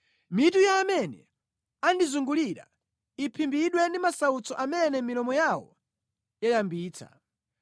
Mitu ya amene andizungulira iphimbidwe ndi masautso amene milomo yawo yayambitsa.